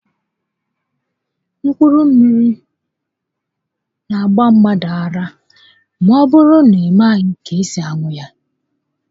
Mkpụrụ mmiri n'agba mmadụ ara ma ọbụrụ na ị i maghị ka esi aṅụ ya